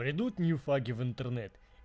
прийдут новички в интернет